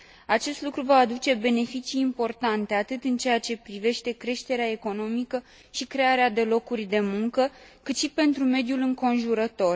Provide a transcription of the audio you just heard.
Acest lucru va aduce beneficii importante atât în ceea ce privește creșterea economică și crearea de locuri de muncă, cât și pentru mediul înconjurător.